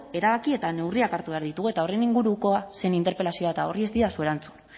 erabaki eta neurriak hartu behar ditugu eta horren ingurukoa zen interpelazioa eta horri ez didazu erantzun